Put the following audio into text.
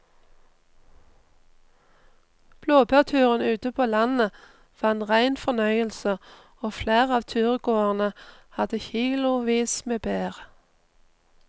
Blåbærturen ute på landet var en rein fornøyelse og flere av turgåerene hadde kilosvis med bær.